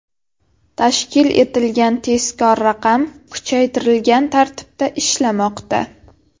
Tashkil etilgan tezkor raqam kuchaytirilgan tartibda ishlamoqda.